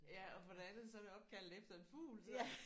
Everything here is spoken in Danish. Ja og for det andet så er det opkaldt efter en fugl så